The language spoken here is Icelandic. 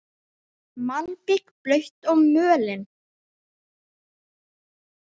Malbik blautt og mölin.